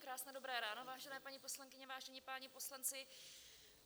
Krásné dobré ráno, vážené paní poslankyně, vážení páni poslanci.